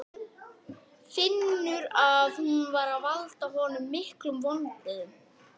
Finnur að hún er að valda honum miklum vonbrigðum.